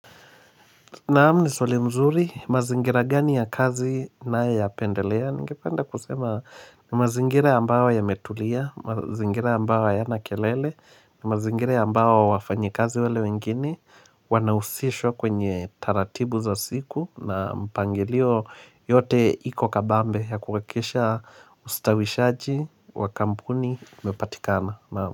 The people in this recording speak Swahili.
Naam ni swali mzuri, mazingira gani ya kazi ninayapendelea? Ningepanda kusema, ni mazingira ambayo yametulia, mazingira ambayo hayana kelele, ni mazingira ambayo wafanyikazi wale wengine, wanahusishwa kwenye taratibu za siku na mpangilio yote iko kabambe ya kuhakikisha ustawishaji wa kampuni umepatikana naam.